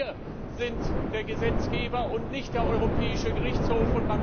Denn wir sind der Gesetzgeber und nicht der Europäische Gerichtshof.